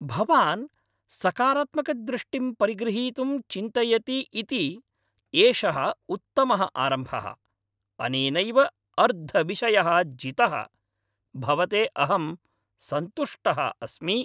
भवान् सकारात्मकदृष्टिं परिगृहीतुं चिन्तयति इति एषः उत्तमः आरम्भः। अनेनैव अर्धविषयः जितः, भवते अहं सन्तुष्टः अस्मि।